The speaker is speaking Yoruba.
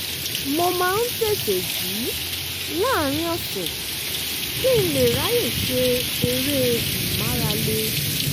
mo máa ń tètè jí láàárín ọ̀sẹ̀ kí n lè ráyè ṣe eré ìmárale